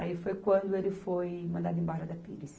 Aí foi quando ele foi mandado embora da Pires.